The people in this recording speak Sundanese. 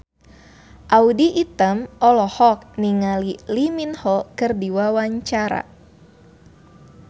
Audy Item olohok ningali Lee Min Ho keur diwawancara